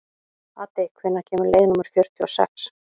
Addi, hvenær kemur leið númer fjörutíu og sex?